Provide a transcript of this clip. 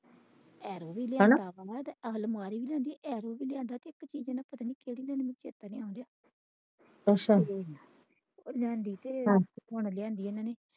ਹੈਨਾ ਅਲਮਾਰੀ ਵੀ ਲਿਆਂਦੀ ਐਰੋ ਵੀ ਲਿਆਂਦਾ ਅੱਛਾ ਲਿਆਂਦੇ ਤੇ ਲਿਆਂਦੀ ਇਹਨਾਂ ਨੇ।